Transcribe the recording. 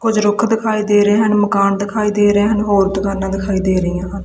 ਕੁਝ ਰੁੱਖ ਦਿਖਾਏ ਦੇ ਰਹੇ ਹਨ ਮਕਾਨ ਦਿਖਾਈ ਦੇ ਰਿਹਾ ਹੋਰ ਦੁਕਾਨਾਂ ਦਿਖਾਈ ਦੇ ਰਹੀਆਂ ਹਨ।